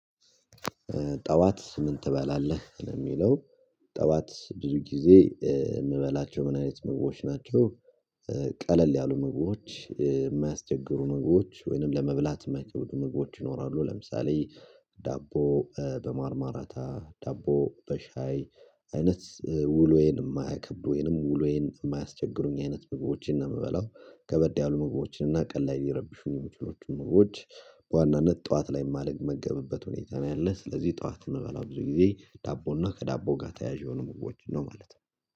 ጠዋት ምን ትበላለህ ለሚለው ጠዋት ብዙ ጊዜ የምበላቸው ምን አይነት ምግቦች ናቸው ቀለል ያሉ ምግቦች፣ የማያስቸግሩ ምግቦች ወይንም ለመብላት የማይቀበሉ ምግቦች ይኖራሉ፤ ለምሳሌ ዳቦ በማርማራታ፣ ዳቦ በሻይ አይነት ውሎዬን የማያከብዱኝ ወይንም ውሎዬን የማያስቸግሩኝ አይነት ምግቦችን ነው የምበላው፤ ከበድ ያሉ ምግቦችን እና ቀን ላይ ሊረብሹኝ የሚችሎችን ምግቦች በዋናነት ጠዋት ላይ የማልመገብበት ሁኔታ ነው ያለ፤ ስለዚህ ጠዋት እምበላው ብዙ ጊዜ ዳቦና ከዳቦ ጋር ተያያዥ የሆኑ ምግቦችን ነው ማለት ነው።